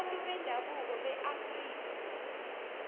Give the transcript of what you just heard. wabantu bendabuko beafrika